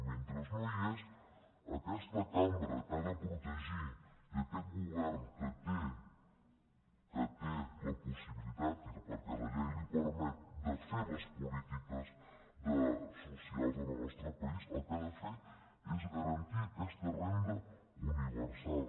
mentre no hi és aquesta cambra que ha de protegir i aquest govern que té la possibilitat perquè la llei li ho permet de fer les polítiques socials en el nostre país el que han de fer és garantir aquesta renda universal